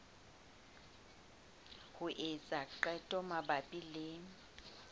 ho etsa qeto mabapi le